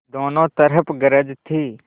दोनों तरफ गरज थी